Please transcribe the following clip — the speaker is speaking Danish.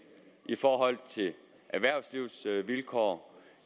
erhvervslivets vilkår